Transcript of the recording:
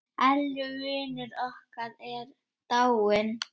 Elli vinur okkar er dáinn.